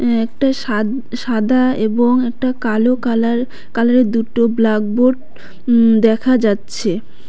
এ একটা সাদ সাদা এবং একটা কালো কালার কালার -এর দুটো ব্ল্যাকবোর্ড উম দেখা যাচ্ছে।